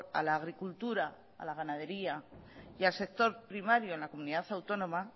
a la agricultura a la ganadería y al sector primario en la comunidad autónoma